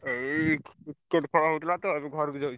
ଏଇ Cricket ଖେଳ ହଉଥିଲା ତ ଏବେ ଘରୁକୁ ଯାଉଚୁ।